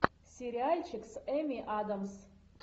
сериальчик с эмми адамс